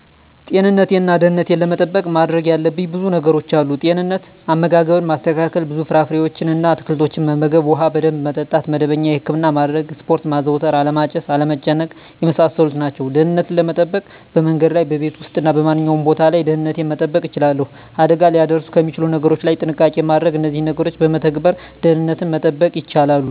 ጤንነቴን እና ደህንነቴን ለመጠበቅ ማድረግ ያለብኝ ብዙ ነገሮች አሉ፦ * ጤንነት፦ * አመጋገብን ማስተካከል፣ ብዙ ፍራፍሬዎችን እና አትክልቶችን መመገብ፣ ውሃ በደንብ መጠጣት፣ መደበኛ የህክምና ማድረግ፣ ስፖርት ማዘውተር አለማጨስ፣ አለመጨናነቅ የመሳሰሉት ናቸው። * ደህንነትን ለመጠበቅ፦ በመንገድ ላይ፣ በቤት ውስጥ እና በማንኛውም ቦታ ላይ ደህንነቴን መጠበቅ እችላለሁ። አደጋ ሊያደርሱ ከሚችሉ ነገሮች ላይ ጥንቃቄ ማድረግ እነዚህን ነገሮች በመተግበር ደህንነትን መጠበቅ ይቻላሉ።